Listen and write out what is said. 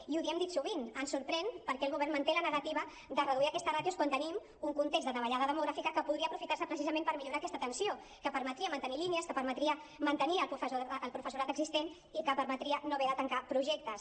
i ho hem dit sovint ens sorprèn per què el govern manté la negativa de reduir aquestes ràtios quan tenim un context de davallada demogràfica que podria aprofitar se precisament per millorar aquesta atenció que permetria mantenir línies que permetria mantenir el professorat existent i que permetria no haver de tancar projectes